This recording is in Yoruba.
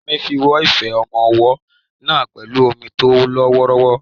Ìyá mi fọ ife ọmọ ọwọ́ náà pẹ̀lú omi tó lọ wọ́ọ́rọ́wọ́.